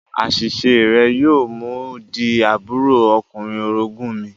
Àṣiṣe rẹ̀ yóò mú u di àbúrò ọkùnrin orogún mi